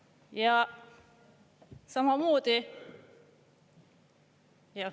Ja samamoodi …